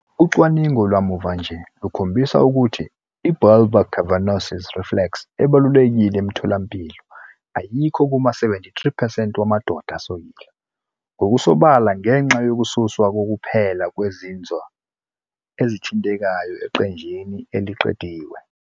Ucwaningo lwamuva nje lukhombisile ukuthi i- bulbocavernosus reflex ebalulekile emtholampilo ayikho kuma-73 percent wamadoda asokile ngokusobala ngenxa yokususwa kokuphela kwezinzwa ezithintekayo eqenjini eliqediwe.